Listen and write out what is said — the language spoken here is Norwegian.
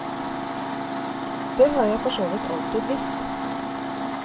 Det har jeg for så vidt alltid visst.